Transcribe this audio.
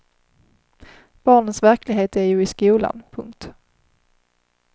Barnens verklighet är ju i skolan. punkt